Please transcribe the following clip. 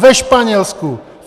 Ve Španělsku!